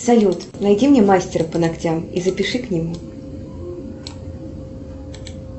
салют найди мне мастера по ногтям и запиши к нему